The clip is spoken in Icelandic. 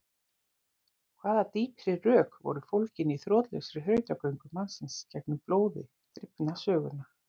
hvaða dýpri rök voru fólgin í þrotlausri þrautagöngu mannsins gegnum blóði drifna söguna?